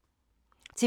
TV 2